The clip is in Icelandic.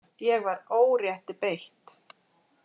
Ég var órétti beitt.